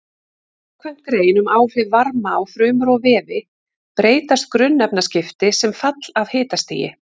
Samkvæmt grein um áhrif varma á frumur og vefi breytast grunnefnaskipti sem fall af hitastigi.